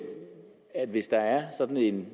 hvis der er sådan